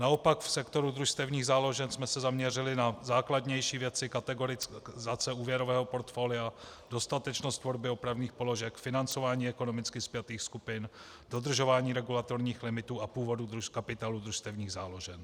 Naopak v sektoru družstevních záložen jsme se zaměřili na základnější věci, kategorizace úvěrového portfolia, dostatečnost tvorby opravných položek, financování ekonomicky spjatých skupin, dodržování regulatorních limitů a původu kapitálu družstevních záložen.